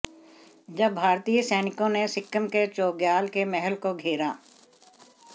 जब भारतीय सैनिकों ने सिक्किम के चोग्याल के महल को घेरा